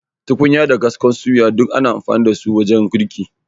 Tukunya da kaskon suya, duk ana amfani da su wajen girki.